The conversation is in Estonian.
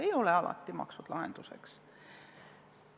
Ei ole alati maksud lahenduseks.